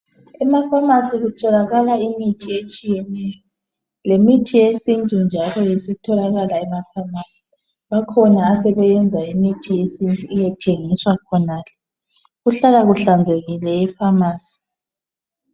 Emafamasi kutholakala imithi etshiyeneyo lemithi yesintu njalo isitholakala emafamasi, bakhona asebeyenza imithi yesintu iyethengiswa khonale, kuhlala kuhlanzekile efamasi.